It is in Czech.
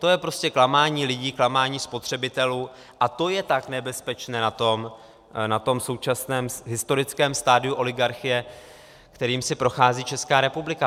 To je prostě klamání lidí, klamání spotřebitelů a to je tak nebezpečné na tom současném historickém stadiu oligarchie, kterým si prochází Česká republika.